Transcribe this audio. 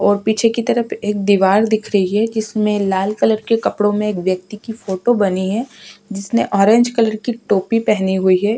ओर पीछे की तरफ एक दीवाल दिख रही है जिसमे लाल कलर के कपड़ों मे एक व्यक्ति की फोटो बनी है जिसने ऑरेंज कलर की टोपी पेहनी हुई है।